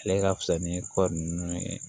Ale ka fisa ni kɔɔri ninnu ye